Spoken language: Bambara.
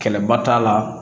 Kɛlɛba t'a la